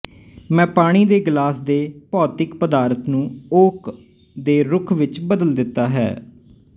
ਮੈਂ ਪਾਣੀ ਦੇ ਗਲਾਸ ਦੇ ਭੌਤਿਕ ਪਦਾਰਥ ਨੂੰ ਓਕ ਦੇ ਰੁੱਖ ਵਿੱਚ ਬਦਲ ਦਿੱਤਾ ਹੈ